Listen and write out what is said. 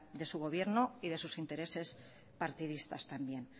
de su gobierno y de sus intereses partidistas también